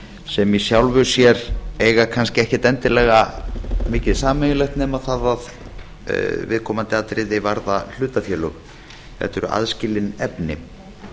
sem í sjálfu sér eiga kannski ekkert endilega mikið sameiginlegt nema það að viðkomandi atriði varða hlutafélög þetta eru aðskilin efni